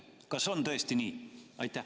Kas on tõesti nii?